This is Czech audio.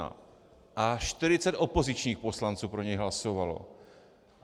A 40 opozičních poslanců pro něj hlasovalo.